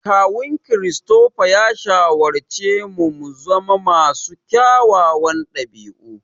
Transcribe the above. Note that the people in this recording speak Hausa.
Kawun Christopher ya shawarci mu muzama masu kyawawan ɗabi'u.